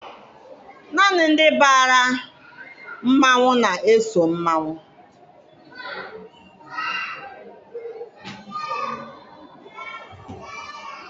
Naanị ndị bara mmanwụ na-eso mmanwụ.